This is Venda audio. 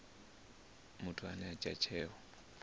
muthu ane a dzhia tsheo